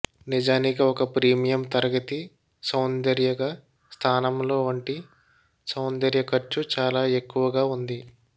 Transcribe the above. నిజానికి ఒక ప్రీమియం తరగతి సౌందర్య గా స్థానంలో వంటి సౌందర్య ఖర్చు చాలా ఎక్కువగా ఉంది